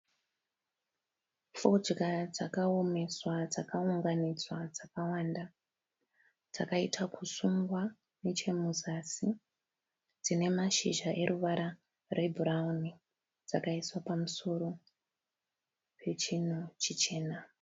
Fodya dzakaomeswa dzakaunganidzwa dzakawanda dzakaita kusungwa nechemuzasi dzine mashizha eruvara rwebhurauni dzakaiswa pamusoro pechinhu chichena.